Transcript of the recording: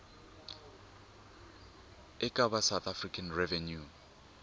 eka va south african revenue